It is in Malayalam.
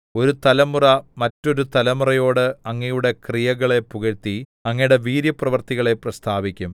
ഒരു തലമുറ മറ്റൊരു തലമുറയോട് അങ്ങയുടെ ക്രിയകളെ പുകഴ്ത്തി അങ്ങയുടെ വീര്യപ്രവൃത്തികളെ പ്രസ്താവിക്കും